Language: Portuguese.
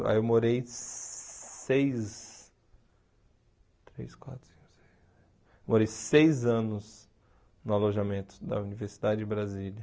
Lá eu morei seis três quatro cinco seis morei seis anos no alojamento da Universidade de Brasília.